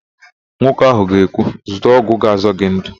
Nwoke ahụ ga-ekwu, "zụta ọgwụ ga-azọ gị ndụ"!